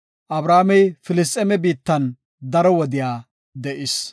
Abrahaamey Filisxeeme biittan daro wode de7is.